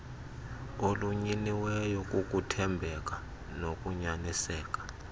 olunyiniweyo kukuthembeka nokunyaniseka